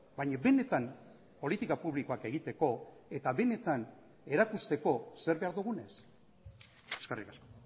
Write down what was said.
baina benetan politika publikoak egiteko eta benetan erakusteko zer behar dugun ez eskerrik asko